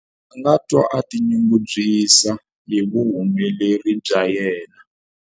A nga twa a tinyungubyisa hi vuhumeleri bya yena.